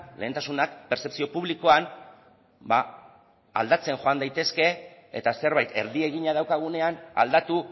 lehentasunak pertzepzio publikoan ba aldatzen joan daitezke eta zerbait erdi egina daukagunean aldatu